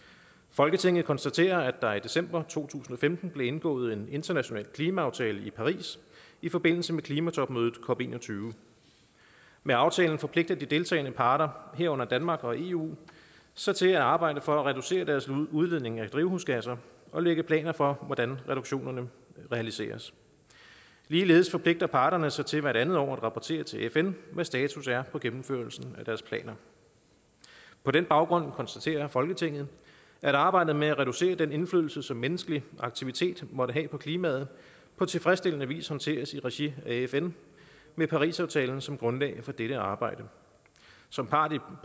folketinget konstaterer at der i december to tusind og femten blev indgået en international klimaaftale i paris i forbindelse med klimatopmødet cop21 med aftalen forpligter de deltagende parter herunder danmark og eu sig til at arbejde for at reducere deres udledning af drivhusgasser og at lægge planer for hvordan reduktioner realiseres ligeledes forpligter parterne sig til hvert andet år at rapportere til fn hvad status er på gennemførelsen af deres planer på den baggrund konstaterer folketinget at arbejdet med at reducere den indflydelse som menneskelig aktivitet måtte have på klimaet på tilfredsstillende vis håndteres i regi af fn med parisaftalen som grundlag for dette arbejde som part i